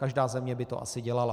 Každá země by to asi dělala.